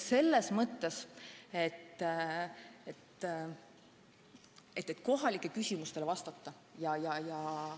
Kohalike elanike küsimustele tuleb vastata.